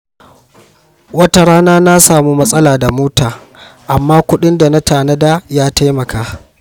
Wata rana na samu matsala da mota, amma kudin da na tanada ya taimaka.